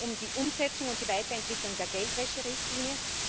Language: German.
Es geht um die Umsetzung und die Weiterentwicklung der Geldwäscherichtlinie.